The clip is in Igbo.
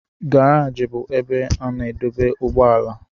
Garaji bụ ebe a na-adọba ụgbọala.